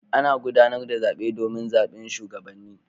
Ana gudanar da zaɓe domin zaɓin shugabanni